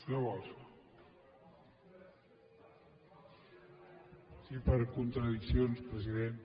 sí per contradiccions president